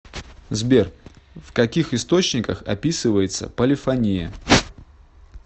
сбер в каких источниках описывается полифония